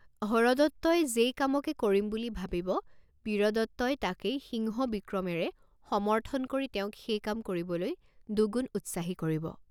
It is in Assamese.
হৰদত্তই যেই কামকে কৰিম বুলি ভাবিব, বীৰদত্তই তাকেই সিংহ বিক্ৰমেৰে সমৰ্থন কৰি তেওঁক সেই কাম কৰিবলৈ দুগুণ উৎসাহী কৰিব।